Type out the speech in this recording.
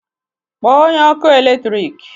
Kpọọ onye ọkụ eletrik!